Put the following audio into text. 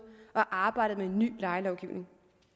og arbejdet med en ny lejelovgivning